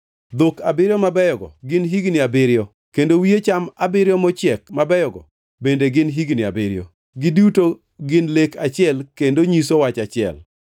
Dhok abiriyo mabeyogo gin higni abiriyo, kendo wiye cham abiriyo mochiek mabeyogo bende gin higni abiriyo; giduto gin lek achiel kendo nyiso wach achiel.